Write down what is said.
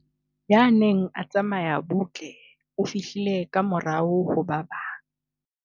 ya neng a tsamaya butle o fihlile ka morao ho ba bang